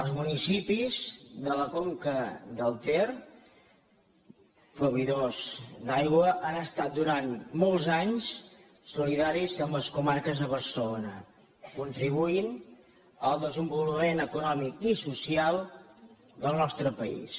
els municipis de la conca del ter proveïdors d’aigua han estat durant molts anys solidaris amb les comarques de barcelona i han contribuït al desenvolupament econòmic i social del nostre país